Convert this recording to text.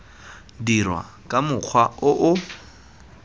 dirwa ka mokgwa o o